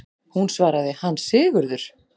Hún svaraði: Hann Sigurður!